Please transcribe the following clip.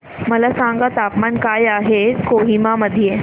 मला सांगा तापमान काय आहे कोहिमा मध्ये